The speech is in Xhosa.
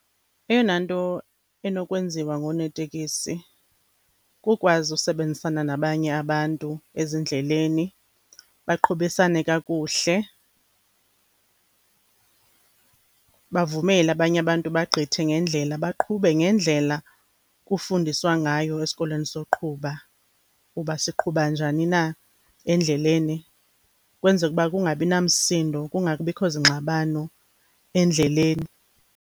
Eyona nto enokwenziwa ngoonoteksi, kukwazi usebenzisana nabanye abantu ezindleleni. Baqhubisane kakuhle, bavumele abanye abantu bagqithe ngendlela, baqhube ngendlela kufundiswa ngayo esikolweni soqhuba, uba siqhuba njani na endleleni. Ukwenzeka uba kungabi namsindo, kungabikho zingxabano endleleni.